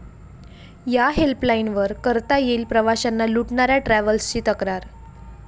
या' हेल्पलाईनवर करता येईल प्रवाशांना लूटणाऱ्या ट्रॅव्हल्सची तक्रार